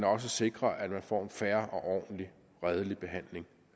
også sikrer at man får en fair og ordentlig redelig behandling